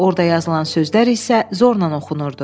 Orda yazılan sözlər isə zorla oxunurdu.